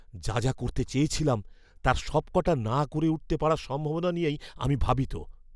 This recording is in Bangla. যা যা করতে চেয়েছিলাম তার সবকটা না করে উঠতে পারার সম্ভাবনা নিয়েই আমি ভাবিত।